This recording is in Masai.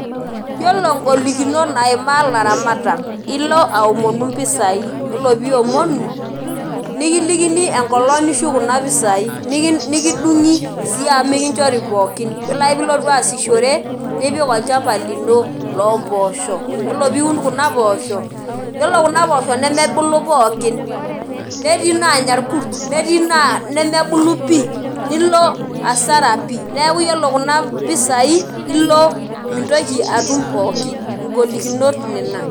Yiolo golikinot naimaa laramatak, ilo aomonu mpisai. Yiolo piomonu, nikilikini enkolong nishuk kuna pisai. Nikidung'i si amu mikinchori pookin. Yiolo ake pilotu aasishore, nipik olchamba lino lompoosho. Yiolo piun kuna poosho, yiolo kuna poosho nemebulu pookin. Netii nanya irkus, netii naa nemebulu pi. Nilo asara pi. Neeku yiolo kuna pisai, ilo mintoki atum pookin. Igolikinot nena.